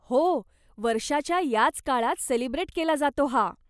हो, वर्षाच्या याच काळात सेलिब्रेट केला जातो हा.